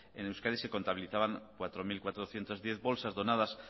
en euskadi se contabilizaban cuatro mil cuatrocientos diez bolsas donadas